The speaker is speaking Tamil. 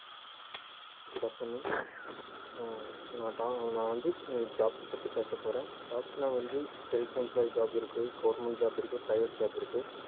good afternoon அஹ் நான் நான் வந்து jobs பத்தி பேசப் போறேன் jobs நான் வந்து self employ job இருக்கு government job இருக்கு private job இருக்கு